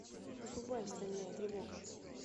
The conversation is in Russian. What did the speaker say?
врубай стальная тревога